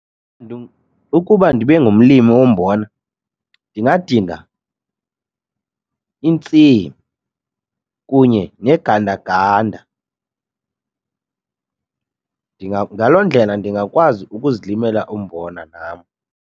Ukuba ndibe ngumlimi wombona ndingadinga intsimi kunye negandaganda. Ngaloo ndlela ndingakwazi ukuzilimela umbona nam.